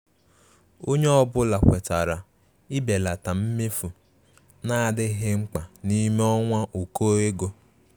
Ònye ọ́bụ̀la kwètàrà ibèlata mmefu na-adịghị mkpa n'ime ọnwa ụkọ ego.